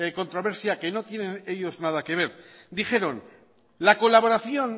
controversia que no tienen ellos nada que ver dijeron la colaboración